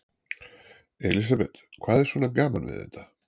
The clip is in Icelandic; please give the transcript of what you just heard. Elísabet: Hvað er svona gaman við þetta?